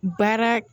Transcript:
Baara